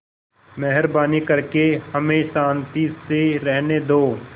मेहरबानी करके हमें शान्ति से रहने दो